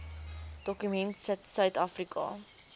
dokument sit suidafrika